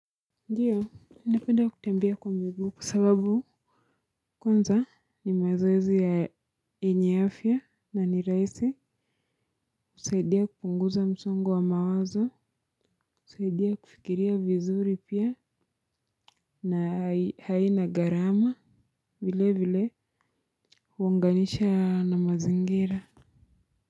Ndio napenda kutembea kwa miguu kwa sababu kwanza ni mazoezi ya enye afya na ni rahisi kusaidia kupunguza msongo wa mawazo, kusaidia kufikiria vizuri pia na haina garama, vilevile huunganisha na mazingira.